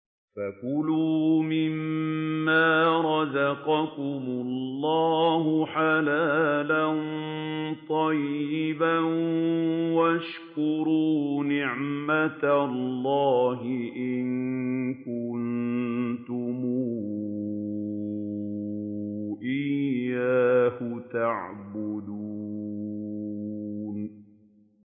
فَكُلُوا مِمَّا رَزَقَكُمُ اللَّهُ حَلَالًا طَيِّبًا وَاشْكُرُوا نِعْمَتَ اللَّهِ إِن كُنتُمْ إِيَّاهُ تَعْبُدُونَ